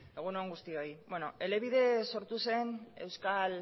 egun on guztioi elebide sortu zen euskal